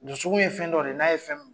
Ɲɔ sugu ye fɛn dɔ de ye n'a ye fɛn min